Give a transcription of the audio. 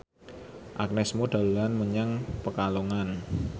Agnes Mo dolan menyang Pekalongan